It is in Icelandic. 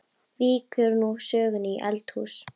Víkur nú sögunni í eldhús.